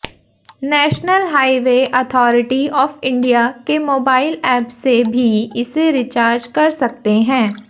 national highway authority of India के mobile app से भी इसे रिचार्ज कर सकते हैं